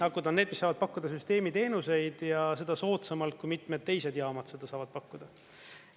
Akud on need, mis saavad pakkuda süsteemi teenuseid ja seda soodsamalt, kui mitmed teised jaamad seda saavad pakkuda.